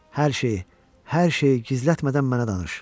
Hər şeyi, hər şeyi gizlətmədən mənə danış.